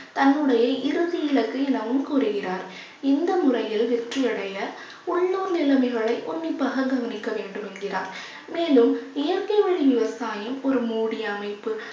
தன்னுடைய இறுதி இலக்கு எனவும் கூறுகிறார் இந்த முறையில் வெற்றியடைய உள்ளூர் நிலைமைகளை உன்னிப்பாக கவனிக்க வேண்டும் என்கிறார். மேலும் இயற்கை வழி விவசாயம் ஒரு மூடி அமைப்பு